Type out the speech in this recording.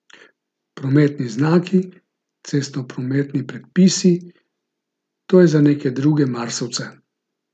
Prometni znaki, cestnoprometni predpisi, to je za neke druge marsovce.